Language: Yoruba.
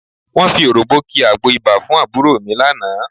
Wọ́n fi òròm̀bó ki àgbo ibà fún àbúrò mi lánàá